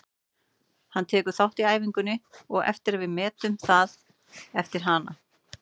Hann tekur þátt í æfingunni á eftir og við metum það eftir hana.